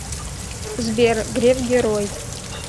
сбер греф герой